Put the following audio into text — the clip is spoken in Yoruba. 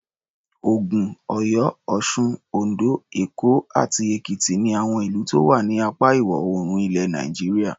Ògùn, Ọ̀yọ́, Ọ̀sun, Oǹdó, Èkó àti Èkìtì ni àwọn ìlú tó wà ní apá Ìwọ̀-oòrùn ilẹ̀ Nàìjíríà.